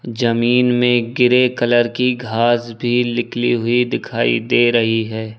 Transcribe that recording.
जमीन में grey colour की घास भी निकली हुई दिखाई दे रही है।